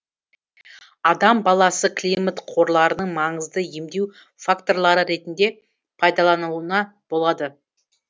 адам баласы климат қорларының маңызды емдеу факторлары ретінде пайдалануына болады